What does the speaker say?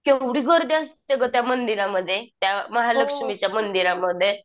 केवढी गर्दी असते गं त्या मंदिरामध्ये? त्या महालक्ष्मीच्या मंदिरामध्ये